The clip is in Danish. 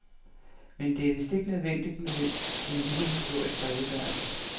Men det er vist nødvendigt med en lille historisk redegørelse.